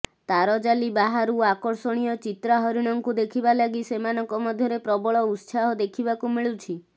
ତାରଜାଲି ବାହାରୁ ଆକର୍ଷଣୀୟ ଚିତ୍ରା ହରିଣଙ୍କୁ ଦେଖିବା ଲାଗି ସେମାନଙ୍କ ମଧ୍ୟରେ ପ୍ରବଳ ଉତ୍ସାହ ଦେଖିବାକୁ ମିଳୁଛି